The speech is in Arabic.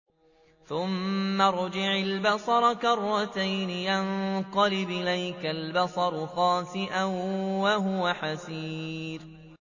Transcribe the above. ثُمَّ ارْجِعِ الْبَصَرَ كَرَّتَيْنِ يَنقَلِبْ إِلَيْكَ الْبَصَرُ خَاسِئًا وَهُوَ حَسِيرٌ